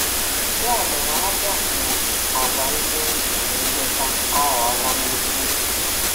Ya mere, Ajọọ um agwa ndị njem nleta aghọọla nnukwu nsogbu.